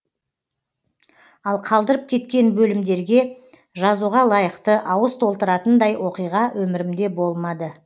ал қалдырып кеткен бөлімдерге жазуға лайықты ауыз толтыратындай оқиға өмірімде болмады